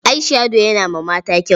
Eye-shadow yana ma mata kyau.